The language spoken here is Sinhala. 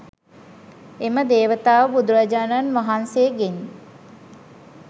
එම දේවතාව බුදුරජාණන් වහන්සේගෙන්